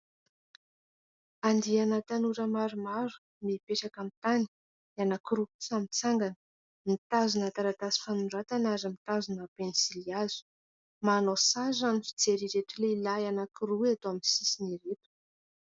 Andiana tanora maromaro mipetraka amin'ny tany. Ny anankiroa kosa mitsangana. Mitazona taratasy fanoratana ary mitazona penisilihazo. Manao sary raha ny fijery ireto lehilahy amin'ny sisiny roa ireto.